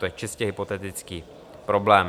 To je čistě hypotetický problém.